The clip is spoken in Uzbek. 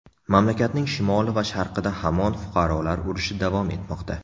Mamlakatning shimoli va sharqida hamon fuqarolar urushi davom etmoqda.